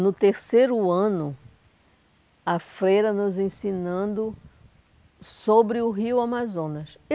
No terceiro ano, a freira nos ensinando sobre o rio Amazonas.